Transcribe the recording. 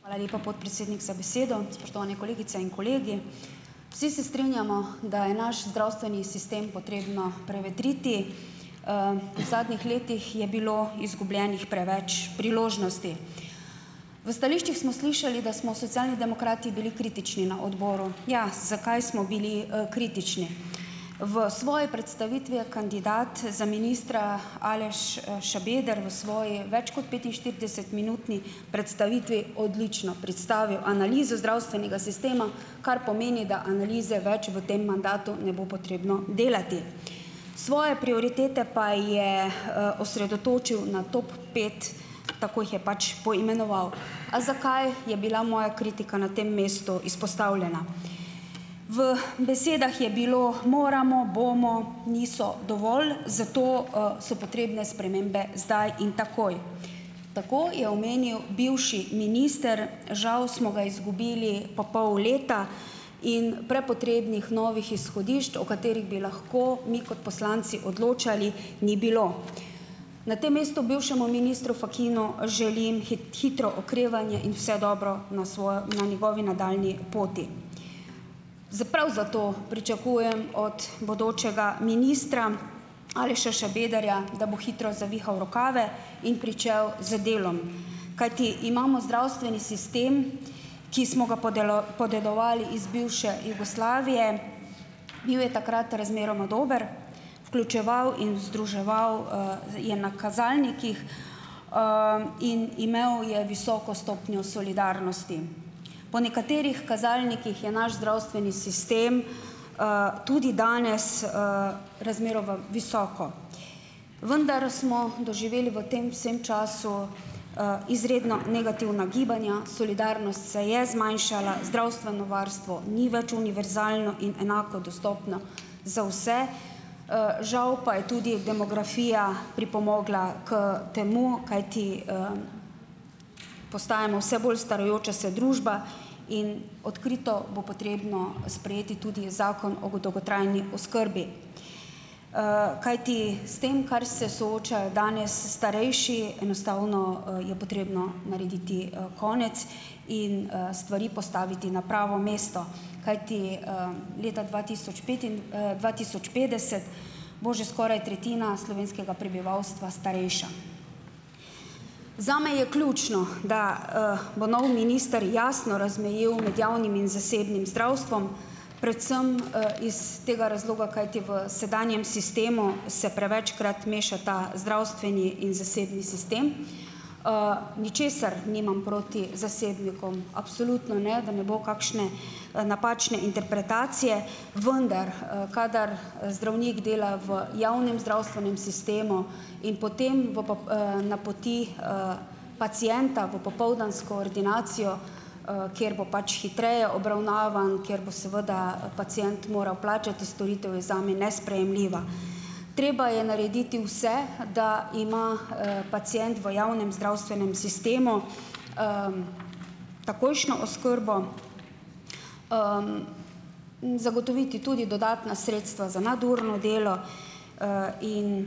Hvala lepa, podpredsednik, za besedo. Spoštovane kolegice in kolegi! Vsi se strinjamo, da je naš zdravstveni sistem potrebno prevetriti. V zadnjih letih je bilo izgubljenih preveč priložnosti. V stališčih smo slišali, da smo Socialni demokrati bili kritični na odboru. Ja, zakaj smo bili, kritični? V svoji predstavitvi je kandidat za ministra Aleš, Šabeder v svoji več kot petinštiridesetminutni predstavitvi odlično predstavil analizo zdravstvenega sistema, kar pomeni, da analize več v tem mandatu ne bo potrebno delati. Svoje prioritete pa je, osredotočil na top pet, tako jih je pač poimenoval. A zakaj je bila moja kritika na tem mestu izpostavljena? V besedah je bilo moramo, bomo, niso dovolj, zato, so potrebne spremembe zdaj in takoj. Tako je omenil bivši minister, žal so ga izgubili po pol leta in prepotrebnih novih izhodišč, o katerih bi lahko mi kot poslanci odločali, ni bilo. Na tem mestu bivšemu ministru Fakinu želim hitro okrevanje in vse dobro na na njegovi nadaljnji poti. prav zato pričakujem od bodočega ministra Aleša Šabederja, da bo hitro zavihal rokave in pričel z delom, kajti imamo zdravstveni sistem, ki smo ga podedovali iz bivše Jugoslavije. Bil je takrat razmeroma dober, vključeval in združeval, je na kazalnikih in ime, je visoko stopnjo solidarnosti. Po nekaterih kazalnikih je naš zdravstveni sistem, tudi danes, razmeroma visoko, vendar smo doživeli v tem vsem času, izredno negativna gibanja, solidarnost se je zmanjšala, zdravstveno varstvo ni več univerzalno in enako dostopno za vse. Žal pa je tudi demografija pripomogla k temu, kajti postajamo vse bolj starajoča se družba in odkrito bo potrebno sprejeti tudi zakon o dolgotrajni oskrbi. Kajti s tem, kar se soočajo danes starejši, enostavno, je potrebno narediti, konec in, stvari postaviti na pravo mesto. Kajti, leta dva tisoč dva tisoč petdeset bo že skoraj tretjina slovenskega prebivalstva starejša. Zame je ključno, da, bo novi minister jasno razmejil med javnim in zasebnim zdravstvom, predvsem, iz tega razloga, kajti v sedanjem sistemu se prevečkrat mešata zdravstveni in zasebni sistem. Ničesar nimam proti zasebnikom absolutno ne, da ne bo kakšne, napačne interpretacije, vendar, kadar zdravnik dela v javnem zdravstvenem sistemu in potem v napoti pacienta v popoldansko ordinacijo, kjer bo pač hitreje obravnavan, kjer bo seveda pacient moral plačati storitev, je zame nesprejemljiva. Treba je narediti vse, da ima, pacient v javnem zdravstvenem sistemu takojšnjo oskrbo, in zagotoviti tudi dodatna sredstva za nadurno delo in